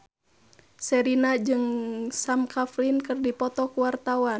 Sherina jeung Sam Claflin keur dipoto ku wartawan